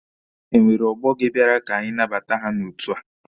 Enwere ọgbọ gị bịara ka anabata ya n'otu a?